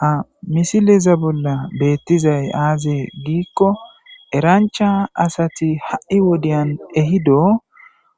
Ha misileza bolla beettizay aaze giikko erancha asati ha'i wodiyan ehido